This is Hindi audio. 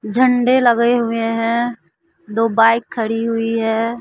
झंडे लगे हुए हैं दो बाइक खड़ी हुई है।